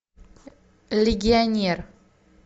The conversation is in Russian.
легионер